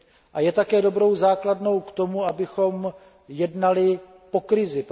A je také dobrou základnou k tomu, abychom jednali po krizi.